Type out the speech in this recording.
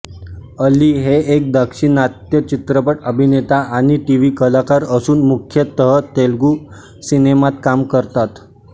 अली हे एक दक्षिणात्य चित्रपट अभिनेता आणि टीवी कलाकार असून मुख्यतः तेलुगू सिनेमात काम करतात